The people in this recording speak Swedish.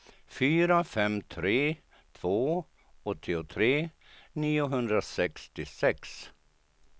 fyra fem tre två åttiotre niohundrasextiosex